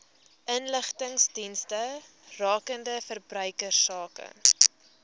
inligtingsdienste rakende verbruikersake